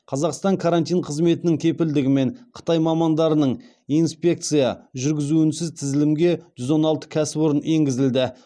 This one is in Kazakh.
қазақстанның карантин қызметінің кепілдігімен қытай мамандарының инспекция жүргізуінсіз тізілімге жүз он алты кәсіпорын енгізілді